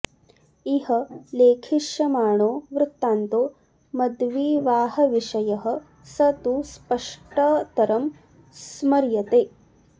इह लेखिष्यमाणो वृत्तान्तो मद्विवाहविषयः स तु स्पष्टतरं स्मर्यते